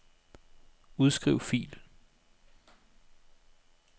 Udskriv fil.